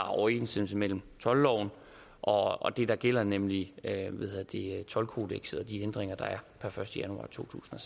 overensstemmelse mellem toldloven og det der gælder nemlig toldkodekset og de hindringer der er per første januar totusinde